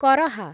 କରହା